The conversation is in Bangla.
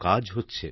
কাজ হচ্ছে